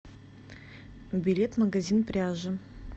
билет магазин пряжи